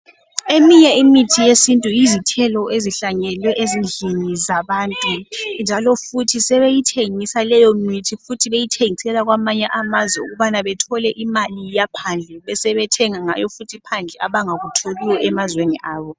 Eminye imithi yesiNtu yizithelo ezihlanyelwe ezindlini zabantu njalo futhi sebeyithengisa leyomithi futhi beyithengisela kwamanye amazwe ukubana bathole imali yaphandle. Besebethenga ngayo futhi phandle abangakutholiyo emazweni abo.